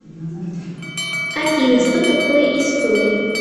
афина что такое история